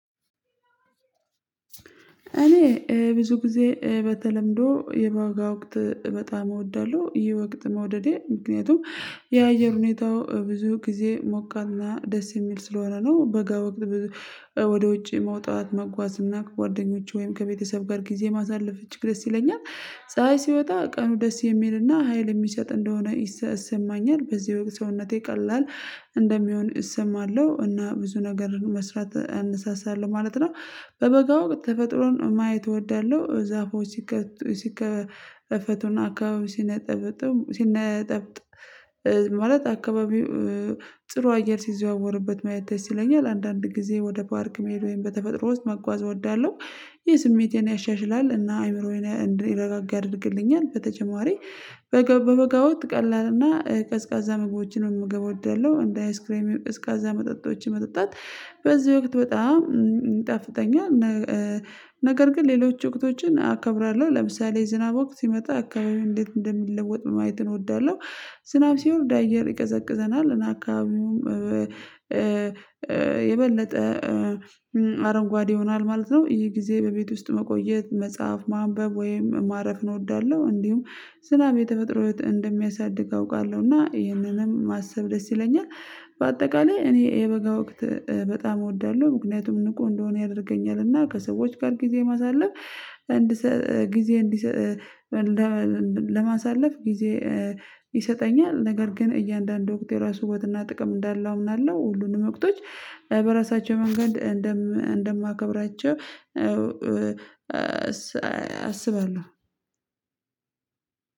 እኔ ብዙ ጊዜ በተለምዶ የበጋ ወቅት በጣም እወዳለሁ ይወቅት መውደዴ ምክንያቱም የአየር ሁኔታው ብዙ ጊዜ ሞቃና ደስ የሚል ስለሆነ ነው በጋ ወቅት። ወደ ውጪ መውጣት መጓዝ እና ከጓደኞቼ ወይም ከቤተሰብ ጋር ጊዜ ማሳለፍ እጅግ ደስ ይለኛል። ፀሀይ ሲወጣ ቀኑ ደስ የሚልና ሀይል የሚሰጥ እንደሆነ ይሰማኛል በዚህ ወቅት ሰውነቴ ቀላል እንደሚሆን እሰማለሁ እና ብዙ ነገርን መስራት አንሳሳለው ማለት ነው። በበጋ ወቅት ተፈጥሮን ማየት እወዳለሁ ዛፎች ሲከፈቱና አካባቢ ሲነጠብጥም ሲነጠብጥ ማለት አካባቢው ጥሩ አየር ሲዘዋወርበት ማየት የስይኝ ለአንዳንድ ጊዜ ወደ ፓርክ መሄድ ወይም በተፈጥሮ ውስጥ መጓዝ እወዳለሁ። ይህ ስሜቴን ያሻሽላል እና አይምሮዬን እንዲረጋጋ ያደርግልኛል። በተጨማሪ በበጋ ወቅት ቀላልና ቀዝቃዛ ምግቦችንም መመግብ እወዳለሁ እንደ አይስክሬም እስከዛ መጠጣቶችን መጠጣት በዚህ ወቅት በጣም ይጣፍጠኛል። ነገር ግን ሌሎች ወቅቶችን አከብራለሁ ለምሳሌ ዝናብ ወቅት ሲመጣ አካባቢው እንዴት እንደሚለወጥ ማየት እወዳለሁ። ዝናብ ሲሆን አየር ይቀዘቅዘናል እና አካባቢውም የበለጠ አረንጓዴ ይሆናል ማለት ነው። ይህ ጊዜ በቤት ውስጥ መቆየት መጽሐፍ ማንበብ ወይም ማረፍን እወዳለሁ። እንዲሁም ዝናብ የተፈጥሮ እህት እንደሚያሳድግ አውቃለሁ እና ይህንንም ማሰብ ደስ ይለኛል። በአጠቃላይ እኔ የበጋ ወቅት በጣም እወዳለሁ። ምክንያቱም ንቁ እንደሆነ ያደርገኛል እና ከሰዎች ጋር ጊዜ ማሳለፍ ጊዜ ለማሳለፍ ጊዜ ይሰጠኛል። ነገር ግን እያንዳንዱ ወቅት የራሱ ውበትና ጥቅም እንዳለው እምናለሁ ሁሉንም ወቅቶች በራሳቸው መንገድ እንደማከብራቸው አስባለሁ።